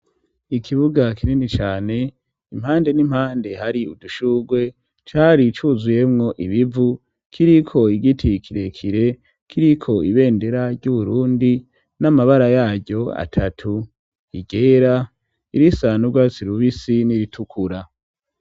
Ikibuga kinini cane impande n'impande hari udushugwe cari cuzuyemwo ibivu kiriko igiti kirekire kiriko ibendera ry'Uburundi n'amabara yaryo atatu igera irisanrwa sirubisi n'iritukura.